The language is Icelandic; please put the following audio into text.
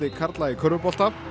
karla í körfubolta